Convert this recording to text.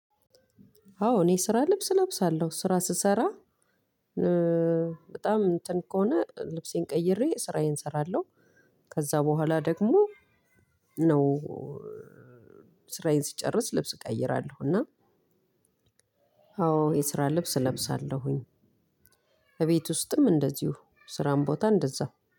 አዎ እኔ የስራ ልብስ እለብሳለሁ ስራ ስሰራ በጣም እንትን ከሆነ ልብሴን ቀይሬ ስራዬን እሰራለሁ። ከዛ በኋላ ደግሞ ነው ስራዬን ሲጨርስ ልብስ እቀይራለሁ። እና አዎ የስራ ልብስ እለብሳለሁኝ። እቤት ውስጥም እንደዚሁ ስራም ቦታ እንደዛው